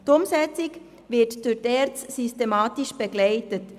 Die Umsetzung werde durch die ERZ systematisch begleitet.